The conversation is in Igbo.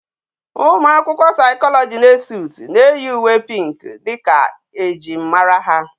Umuakwukwo psychology na Esut na eyi uwe pink dika ejim mara ha